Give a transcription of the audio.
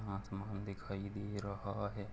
आसमान दिखाई दे रहा है।